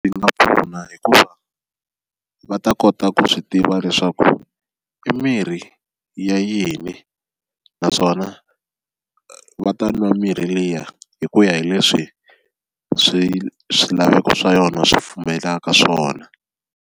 Swi nga pfuna hikuva va ta kota ku swi tiva leswaku i mirhi ya yini naswona va ta nwa mirhi liya hi ku ya hi leswi swi swilaveko swa yona swi pfumelaka swona.